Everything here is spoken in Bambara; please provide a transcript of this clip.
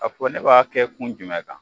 A fɔ ne b'a kɛ kun jumɛn kan